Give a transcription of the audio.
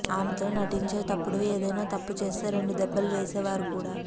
ఆమెతో నటించేటప్పుడు ఏదైనా తప్పు చేస్తే రెండు దెబ్బలు వేసేవారు కూడా